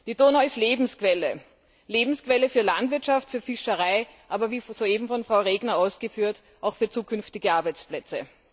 Die Donau ist Lebensquelle, Lebensquelle für Landwirtschaft, Fischerei, aber wie soeben von Frau Regner ausgeführt auch für zukünftige Arbeitsplätze.